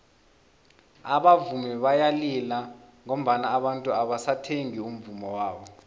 abavumi bayalila ngoba abantu abasathengi umvummo wabo